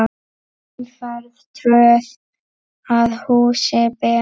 Umferð tröð að húsi ber.